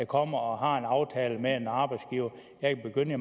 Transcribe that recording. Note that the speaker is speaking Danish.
kommer og har en aftale med en arbejdsgiver om at begynde i